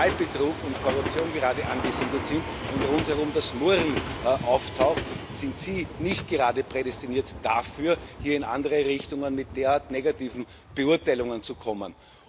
Wahlbetrugs und Korruption angesiedelt sind und rundherum das Murren auftaucht, sind Sie nicht gerade prädestiniert dafür, hier in andere Richtungen mit derart negativen Beurteilungen zu kommen.